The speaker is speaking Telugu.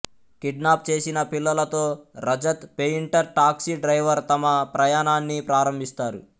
కిడ్నాప్ చేసిన పిల్లలతో రజత్ పేయింటర్ టాక్సీ డ్రైవర్ తమ ప్రయాణాన్ని ప్రారంభిస్తారు